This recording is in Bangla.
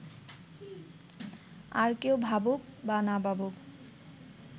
আর কেউ ভাবুক বা না ভাবুক